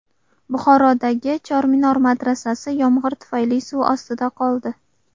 Buxorodagi Chorminor madrasasi yomg‘ir tufayli suv ostida qoldi .